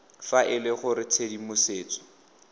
fa e le gore tshedimosetso